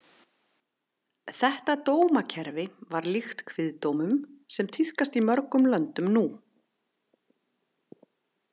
Þetta dómakerfi var líkt kviðdómum sem tíðkast í mörgum löndum nú.